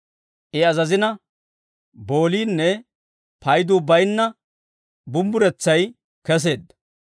I azazina, booliinne payduu bayinna bumbburetsay keseedda.